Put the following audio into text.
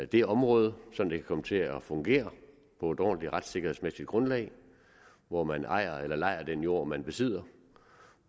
det område sådan at det kan komme til at fungere på et ordentligt retssikkerhedsmæssigt grundlag hvor man ejer eller lejer den jord man besidder